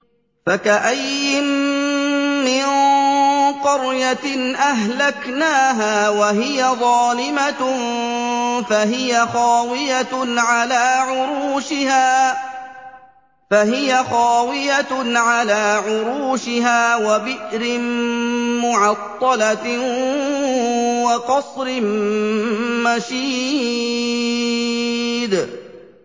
فَكَأَيِّن مِّن قَرْيَةٍ أَهْلَكْنَاهَا وَهِيَ ظَالِمَةٌ فَهِيَ خَاوِيَةٌ عَلَىٰ عُرُوشِهَا وَبِئْرٍ مُّعَطَّلَةٍ وَقَصْرٍ مَّشِيدٍ